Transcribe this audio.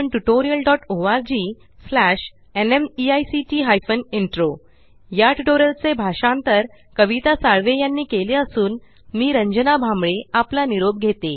या टयूटोरियल चे भाषांतर कविता साळवे यांनी केलेले असून मी रंजना भांबळे आपला निरोप घेते